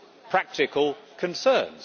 practical concerns.